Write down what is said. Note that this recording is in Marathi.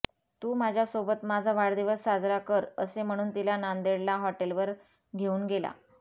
तू माझ्यासोबत माझा वाढदिवस साजरा कर असे म्हणून तिला नांदेडला हॉटेलवर घेऊन गेला